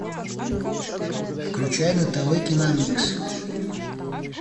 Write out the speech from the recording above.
включай на тв киномикс